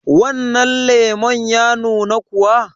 wannan lemon ya nuna kuwa?